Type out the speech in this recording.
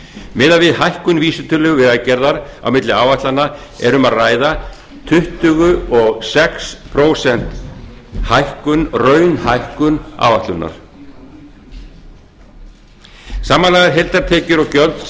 miðað við hækkun vísitölu vegagerðar á milli áætlana er um að ræða tuttugu og sex prósenta hækkun raunhækkun áætlunar samanlagðar heildartekjur og gjöld